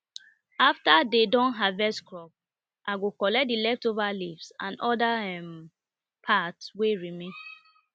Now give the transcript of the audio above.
after dem don harvest crop i go collect the leftover leaves and other um part wey remain